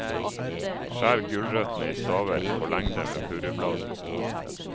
Skjær gulrøttene i staver på lengde med purrebladene.